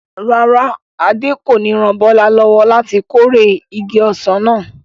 Rárá, Adé kò ní ran Bọ́lá lọ́wọ́ láti kórè igi ọsàn náà.